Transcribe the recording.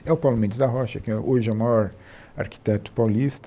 É o Paulo Mendes da Rocha, que hoje é o maior arquiteto paulista.